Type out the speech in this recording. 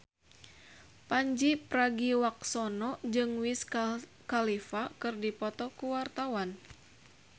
Pandji Pragiwaksono jeung Wiz Khalifa keur dipoto ku wartawan